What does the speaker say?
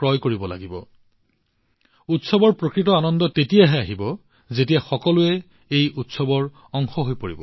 যি কি নহওক এই উৎসৱৰ প্ৰকৃত আনন্দ তেতিয়াহে হয় যেতিয়া সকলোৱে এই উৎসৱৰ অংশ হৈ পৰে